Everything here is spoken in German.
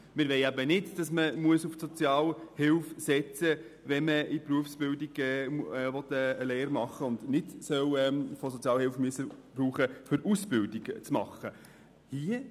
Wir wollen nicht, dass man auf die Sozialhilfe setzen muss, wenn man eine Berufsausbildung durchlaufen will.